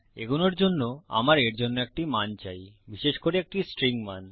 এগোনোর জন্য আমার এর জন্য একটি মান চাই বিশেষ করে একটি স্ট্রিং মান